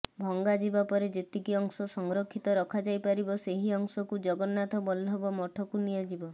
ଭଂଗାଯିବା ପରେ ଯେତିକି ଅଂଶ ସଂରକ୍ଷିତ ରଖାଯାଇ ପାରିବ ସେହି ଅଂଶକୁ ଜଗନ୍ନାଥ ବଲ୍ଳଭ ମଠକୁ ନିଆଯିବ